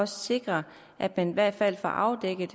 sikre at man i hvert fald får afdækket